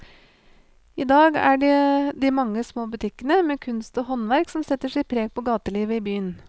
I dag er det de mange små butikkene med kunst og håndverk som setter sitt preg på gatelivet i byen.